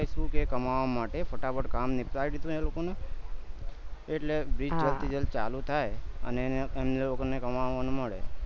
screw કે કમાવા માટે ફટાફટ નીપટાય દીહું એ લોકો નું એટલે bridge જલ્દ થી જલ્દ ચાલુ થાય અને એને એમને લોકો ને કમાવાનું મળે